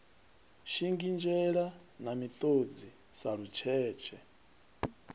shingizhela na miṱodzi sa lutshetshe